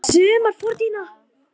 Allt sumar